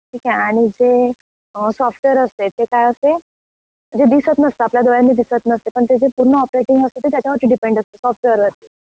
ठीक आहे आणि जे सॉफ्टवेर असते ते काय असते, जे दिसत नसत आपल्या डोळ्यानी दिसत नसते पण ते जे पूर्ण ऑपरेटिंग असते ते त्याच्या वरती डीपेंड असते सॉफ्टवेर वरती.